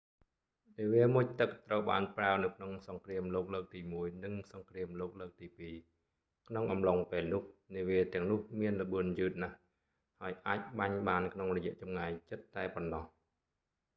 នាវាមុជទឹកត្រូវបានប្រើនៅក្នុងសង្គ្រាមលោកលើកទីមួយ និងសង្គ្រាមលោកលើកទីពីរ ក្នុងអំឡុងពេលនោះ នាវាទាំងនោះមានល្បឿនយឺតណាស់ ហើយអាចបាញ់បានក្នុងរយៈចម្ងាយជិតតែប៉ុណ្ណោះ